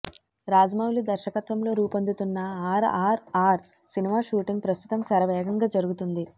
రాజమౌళి దర్శకత్వం లో రూపొందుతున్న ఆర్ఆర్ఆర్ సినిమా షూటింగ్ ప్రస్తుతం శరవేగంగా జరుగుతోంది